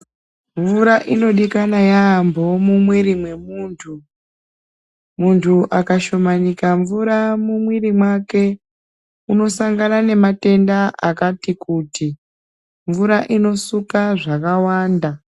Mvura inodikanwa yampho mumiri memuntu akashomanika mvura mumiri make unosangana nematenda akati kuti mvura inosuka zvakawanda.